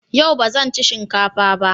Yau ba zan ci shinka fa ba.